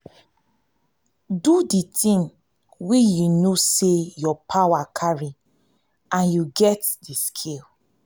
do di thing wey you know sey your power carry and you get di skill